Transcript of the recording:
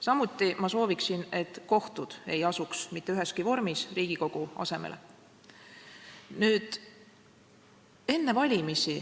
Samuti ma soovin, et kohtud ei asuks mitte üheski vormis Riigikogu asemele.